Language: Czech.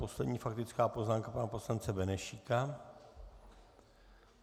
Poslední faktická poznámka pana poslance Benešíka.